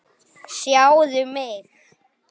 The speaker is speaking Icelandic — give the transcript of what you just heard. Sjáðu mig.